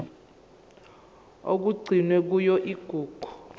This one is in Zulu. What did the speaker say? okugcinwe kuyona igugu